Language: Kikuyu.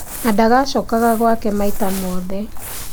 Na ndacokaga gwake maita ciothe